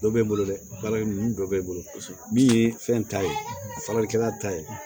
Dɔ bɛ n bolo dɛ bari ninnu dɔ bɛ n bolo min ye fɛn ta ye faralikɛla ta ye